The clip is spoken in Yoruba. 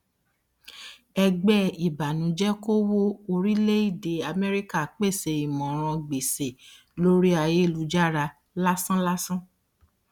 ẹgbẹ ìbànújẹkòwó orílẹèdè amẹríkà pèsè ìmọràn gbèsè lórí ayélujára lásánlàsán